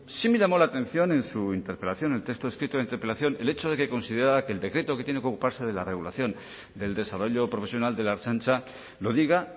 sí me llamó la atención en su interpelación el texto escrito de la interpelación el hecho de que considerara que el decreto que tiene que ocuparse de la regulación del desarrollo profesional de la ertzaintza lo diga